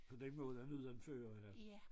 Så den må være uden fører eller